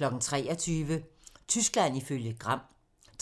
23:00: Tyskland ifølge Gram